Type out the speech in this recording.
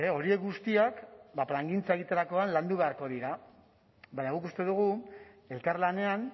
horiek guztiak ba plangintza egiterakoan landu beharko dira baina guk uste dugu elkarlanean